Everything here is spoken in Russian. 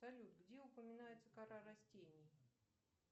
салют где упоминается кора растений